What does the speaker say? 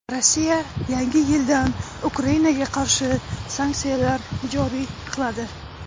Rossiya yangi yildan Ukrainaga qarshi sanksiyalar joriy qiladi.